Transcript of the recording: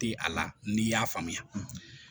Tɛ a la n'i y'a faamuya